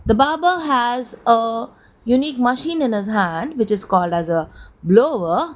the barber has a unique machine in his hand which is called as a blower.